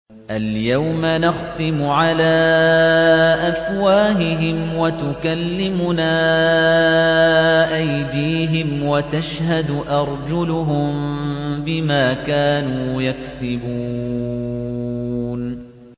الْيَوْمَ نَخْتِمُ عَلَىٰ أَفْوَاهِهِمْ وَتُكَلِّمُنَا أَيْدِيهِمْ وَتَشْهَدُ أَرْجُلُهُم بِمَا كَانُوا يَكْسِبُونَ